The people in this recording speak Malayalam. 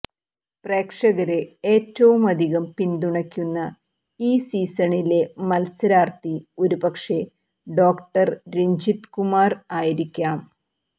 പ്രേക്ഷകര് ഏറ്റവുമധികം പിന്തുണയ്ക്കുന്ന ഈ സീസണിലെ മല്സരാര്ത്ഥി ഒരുപക്ഷെ ഡോ രജിത് കുമാര് ആയിരിക്കാം